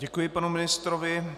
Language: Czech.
Děkuji panu ministrovi.